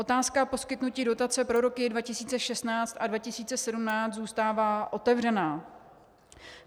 Otázka poskytnutí dotace pro roky 2016 a 2017 zůstává otevřená.